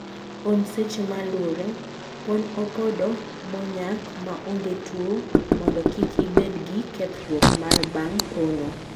Pon seche malure: Pon opodo monyak maonge tuo mondo kik ibed gi kethruok mar bang pono.